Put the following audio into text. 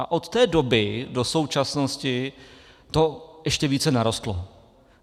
A od té doby do současnosti to ještě více narostlo.